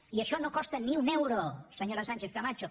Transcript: i això no costa ni un euro senyora sánchez camacho